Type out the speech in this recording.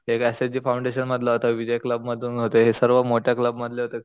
एक S F the foundation मधला होता विजय क्लब मधून होते हे सर्व मोठ्या क्लब मधले होते